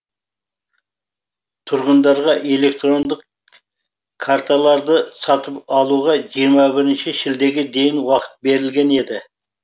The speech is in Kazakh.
тұрғындарға электрондық карталарды сатып алуға жиырма бірінші шілдеге дейін уақыт берілген еді